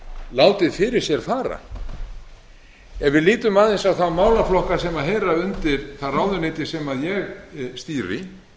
látið fyrir sér fara ef við lítum aðeins á þá málaflokka sem heyra undir það ráðuneyti sem ég stýri